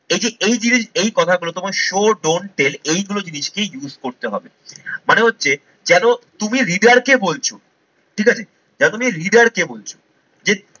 এই যে এই জিনিস এই কথাগুলো তোমার show don't tell এইগুলো জিনিসকেই use করতে হবে। মানে হচ্ছে যেন তুমি হৃদয় কে বলছো ঠিক আছে। যেন তুমি হৃদয় কে বলছো যে এভাবে তুমি যদি শুরু করো না রেডি থেকে? তাহলে সবার প্রথমে হৃদয়, এটাই ভাববে যে না এটা আমাকে কেউ দেখাচ্ছে